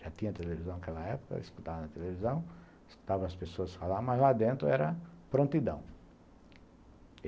Já tinha televisão naquela época, escutava na televisão, escutava as pessoas falarem, mas lá dentro era prontidão.